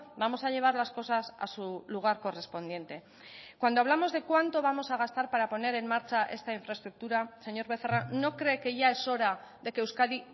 vamos a llevar las cosas a su lugar correspondiente cuando hablamos de cuánto vamos a gastar para poner en marcha esta infraestructura señor becerra no cree que ya es hora de que euskadi